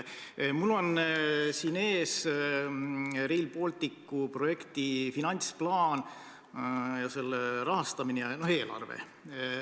Mul on siin ees Rail Balticu projekti finantsplaan ja selle rahastamine, selle eelarve.